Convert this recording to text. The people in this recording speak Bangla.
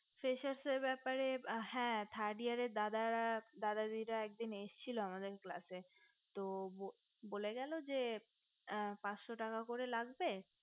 freshers এ র ব্যাপারে দাদা দাদা দিদি রা একদিন এসছিল আমাদের class এ তো বলে গেলো যে পাঁচশো টাকা করে লাগবে